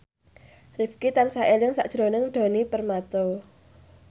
Rifqi tansah eling sakjroning Djoni Permato